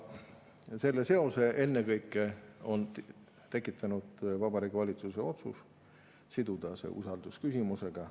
Selle seose on ennekõike tekitanud Vabariigi Valitsuse otsus siduda see usaldusküsimusega.